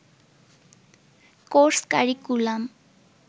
course curriculum